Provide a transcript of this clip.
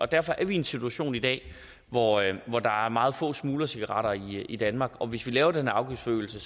derfor er vi i en situation i dag hvor der er meget få smuglercigaretter i danmark og hvis vi laver den afgiftsforøgelse